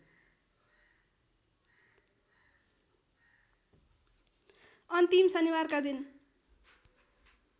अन्तिम शनिबारका दिन